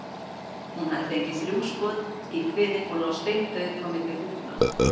Hún hafði fengið þrjú skot í kviðinn og lá steindauð á milli þúfna.